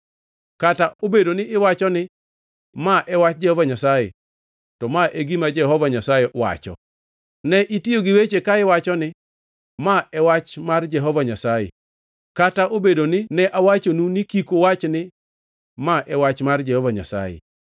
Kata obedo ni iwacho ni, ‘Ma e wach mar Jehova Nyasaye,’ to ma e gima Jehova Nyasaye wacho: Ne itiyo gi weche ka iwacho ni, ‘Ma e wach mar Jehova Nyasaye,’ kata obedoni ne awachonu ni kik uwach ni, ‘Ma e wach mar Jehova Nyasaye.’